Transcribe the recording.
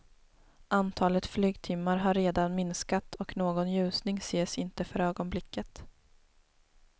Antalet flygtimmar har redan minskat och någon ljusning ses inte för ögonblicket.